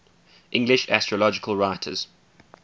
english astrological writers